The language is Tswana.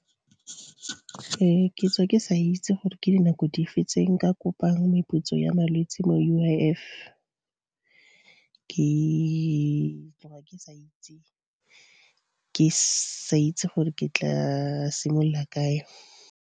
Ke tswa ke sa itse gore ke dinako di fe tse nka kopang meputso ya malwetse mo U_I_F, ke sa itse gore ke tla simolola kae.